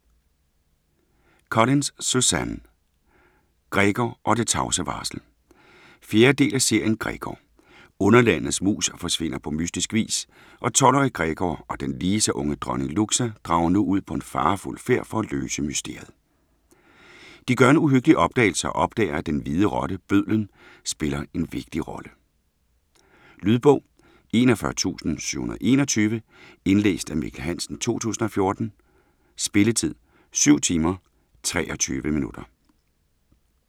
Collins, Suzanne: Gregor og det tavse varsel 4. del af serien Gregor. Underlandets mus forsvinder på mystisk vis, og 12-årige Gregor og den lige så unge dronning Luxa drager nu ud på en farefuld færd for at løse mysteriet. De gør en uhyggelig opdagelse og opdager, at den hvide rotte, Bødlen, spiller en vigtig rolle. Lydbog 41721 Indlæst af Mikkel Hansen, 2014. Spilletid: 7 timer, 23 minutter.